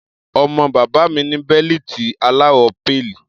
Ọmọ bàbá mi ní bẹ́lìtì aláwọ̀ pálí.